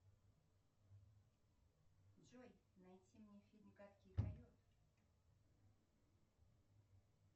джой найти мне фильм гадкий койот